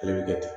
Ale bi kɛ ten